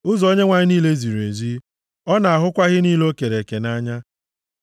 Ụzọ Onyenwe anyị niile ziri ezi; ọ na-ahụkwa ihe niile o kere eke nʼanya.